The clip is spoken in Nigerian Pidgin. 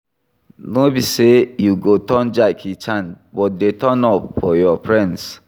No be sey you go turn Jackie Chan but dey turn up for your friends